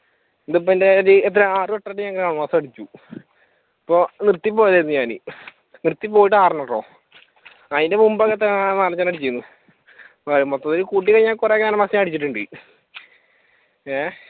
ഇപ്പൊ ഇതെന്റെ ഇപ്പൊ എത്രയാ ആറുവട്ടം അടിച്ചു അപ്പൊ നിർത്തിപ്പോയതാരുന്നു ഞാൻ നിർത്തി പോയിട്ട് ആറെണ്ണം കേട്ടോ അതിന് മുൻപ് ഒക്കെ എത്രയാ നാലഞ്ചെണ്ണം അടിച്ചിരുന്നു. അപ്പൊ മൊത്തത്തിൽ കൂട്ടിക്കഴിഞ്ഞാൽ ഞാൻ അയച്ചിട്ടുണ്ട ഏഹ്